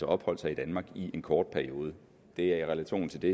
opholdt sig i danmark i en kort periode det er i relation til det